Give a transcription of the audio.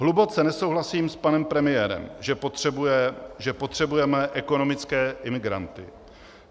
Hluboce nesouhlasím s panem premiérem, že potřebujeme ekonomické imigranty.